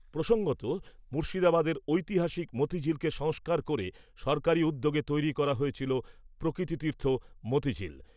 প্রসঙ্গত মুর্শিদাবাদের ঐতিহাসিক মতিঝিল কে সংস্কার করে সরকারি উদ্যোগে তৈরী করা হয়েছিলো প্রকৃতিতীর্থ মতিঝিল ।